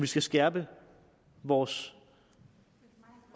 skal skærpe vores